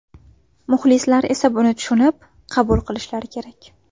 Muxlislar esa buni tushunib, qabul qilishlari kerak.